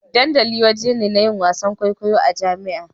Dandali wajen ne na yin wasa kwaikwayo a jami'a.